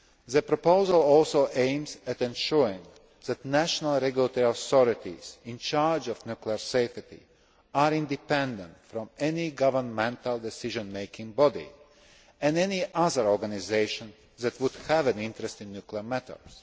The proposal also aims at ensuring that national regulatory authorities in charge of nuclear safety are independent from any governmental decision making body and any other organisation that would have an interest in nuclear matters.